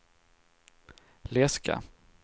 läska